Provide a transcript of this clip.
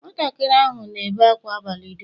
Nwatakịrị ahụ na-ebe ákwá abalị dum.